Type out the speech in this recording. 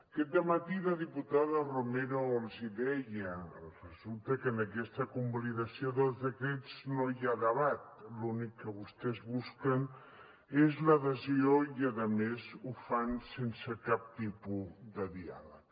aquest dematí la diputada romero els hi deia resulta que en aquesta convalidació dels decrets no hi ha debat l’únic que vostès busquen és l’adhesió i a més ho fan sense cap tipus de diàleg